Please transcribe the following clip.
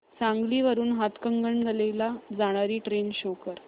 सांगली वरून हातकणंगले ला जाणारी ट्रेन शो कर